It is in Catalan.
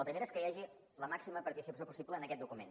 la primera és que hi hagi la màxima participació possible en aquest document